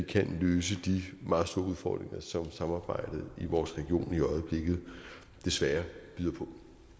kan løse de meget store udfordringer som samarbejdet i vores region i øjeblikket desværre byder på